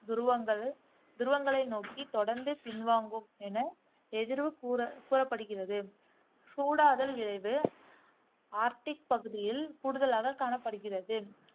துருவங்கள் துருவங்களை நோக்கி தொடந்ந்து பின்வாங்கும் என் எதிர்வு கூற கூறப்படுகிறது. சூடாதல் விளைவு ஆர்க்டிக் பகுதியில் கூடுதலாக காணப்படுகிறது.